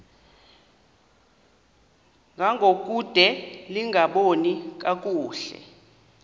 ngangokude lingaboni kakuhle